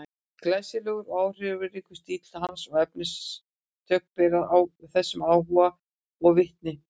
Glæsilegur og áhrifaríkur stíll hans og efnistök bera þessum áhuga vitni.